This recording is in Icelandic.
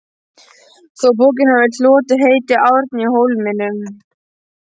þó að bókin hafi hlotið heitið Árni í Hólminum.